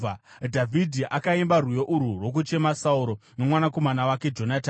Dhavhidhi akaimba rwiyo urwu rwokuchema Sauro nomwanakomana wake Jonatani,